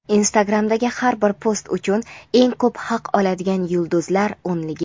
Instagram’dagi har bir post uchun eng ko‘p haq oladigan yulduzlar o‘nligi:.